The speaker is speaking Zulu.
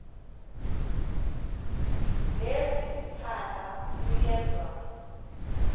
lesi siphandla sinikezwa